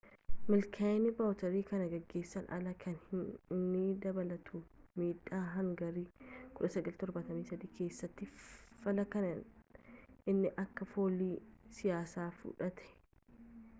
milkaa'ini vawuteer kan gaggeessun alaa kan inni dabalatu midhaa hangarii 1973 keessatti fallaa kan inni akka foolii siyaasati fudhate